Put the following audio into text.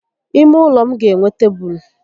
Ímé ụlọ m ga enwe tébulu